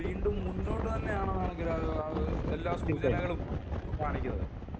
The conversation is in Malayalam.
വീണ്ടും മുന്നോട്ടു തന്നെയാണെന്ന് ആണ് എല്ലാ സൂചനകളും കാണിക്കുന്നത്